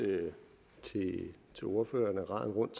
tak til ordføreren